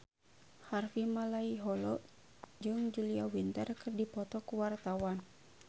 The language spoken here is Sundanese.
Harvey Malaiholo jeung Julia Winter keur dipoto ku wartawan